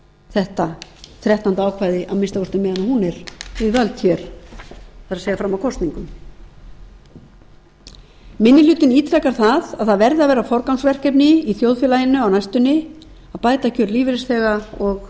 þetta þrettánda ákvæði að minnsta kosti á meðan hún er við völd hér það er fram að kosningum minni hlutinn ítrekar að það verði eitt af forgangsverkefnum í þjóðfélaginu á næstunni að bæta kjör lífeyrisþega og